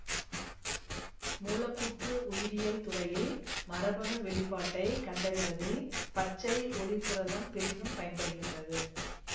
மூலக்கூற்று உயிரியல் துறையில் மரபணு வெளிப்பாட்டை கண்டறிவதில் பச்சை ஒளிர்புரதம் பெரிதும் பயன்படுகின்றது